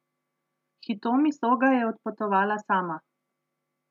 Hitomi Soga je odpotovala sama.